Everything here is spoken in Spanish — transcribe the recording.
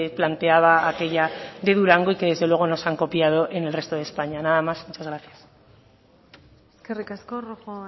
planteaba aquella de durango y que desde luego nos han copiado en el resto de españa nada más y muchas gracias eskerrik asko rojo